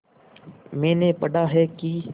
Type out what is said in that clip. मैंने पढ़ा है कि